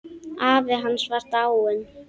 Afi hans var dáinn.